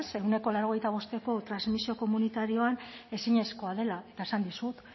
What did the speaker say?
ehuneko laurogeita bosteko transmisio komunitarioan ezinezkoa dela eta esan dizut